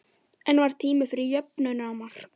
En var tími fyrir jöfnunarmark?